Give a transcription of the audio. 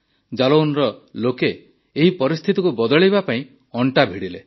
ଜାଲୌନର ଲୋକେ ଏହି ପରିସ୍ଥିତିକୁ ବଦଳାଇବା ପାଇଁ ଅଣ୍ଟା ଭିଡ଼ିଲେ